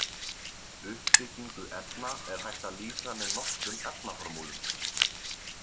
Uppbyggingu efna er hægt að lýsa með nokkrum efnaformúlum.